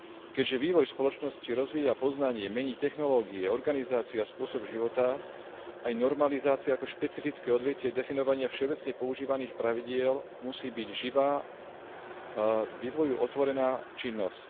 Keďže vývoj v spoločnosti rozvíja poznanie, mení technológie, organizáciu a spôsob života, aj normalizácia ako špecifické odvetvie definovania všeobecne používaných pravidiel musí byť živá a vývoju otvorená činnosť.